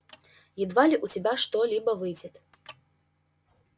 едва ли у тебя что-либо выйдет